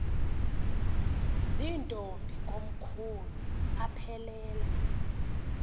zirntombi komkhulu aphelela